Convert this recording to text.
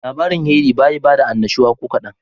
Labarin Henry bayi bada annashuwa kokadan.